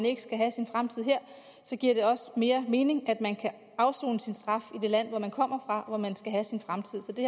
ikke skal have sin fremtid her så giver det mere mening at man kan afsone sin straf i det land hvor man kommer fra og hvor man skal have sin fremtid så det